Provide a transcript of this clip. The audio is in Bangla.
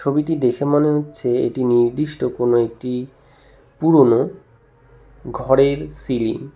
ছবিটি দেখে মনে হচ্ছে এটি নির্দিষ্ট কোন একটি পুরনো ঘরের সিলিং ।